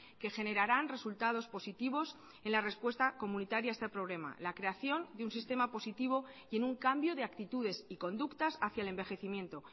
que generarán resultados positivos en la respuesta comunitaria a este problema la creación de un sistema positivo y en un cambio de actitudes y conductas hacia el envejecimiento